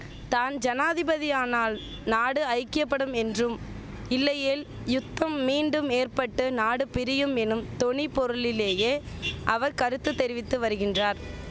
தான் ஜனாதிபதியானால் நாடு ஐக்கியபடும் என்றும் இல்லையேல் யுத்தம் மீண்டும் ஏற்பட்டு நாடு பிரியும் எனும் தொனி பொருளிலேயே அவர் கருத்து தெரிவித்து வருகின்றார்